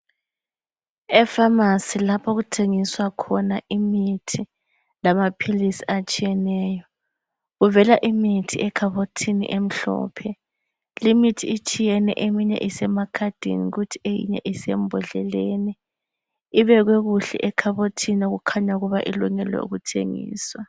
Efamasi lapho okuthengiswa khona imithi lamaphilisi atshiyeneyo, kuvela imithi ekhabothini emhlophe. Limithi itshiyene eminye isemakhadini kuthi eyinye isembodleleni, ibekwe kuhle ekhabothini okukhanya ukuba ilungelwe ukuthengiswa.